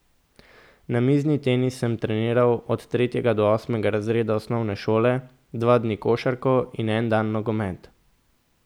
Namizni tenis sem treniral od tretjega do osmega razreda osnovne šole, dva dni košarko in en dan nogomet.